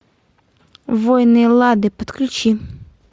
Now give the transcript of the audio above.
воины эллады подключи